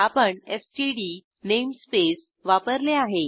आपण STD namespace वापरले आहे